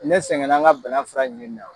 Ne sɛgɛnna n ka bana fura ɲinini na.